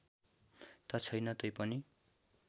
त छैन तैपनि